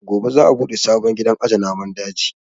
Gobe za a buɗe sabon gidan aje namun daji